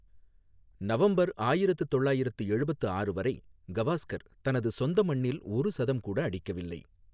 November ஆயிரத்து தொள்ளாயிரத்து எழுபத்து ஆறு வரை கவாஸ்கர் தனது சொந்த மண்ணில் ஒரு சதம் கூட அடிக்கவில்லை.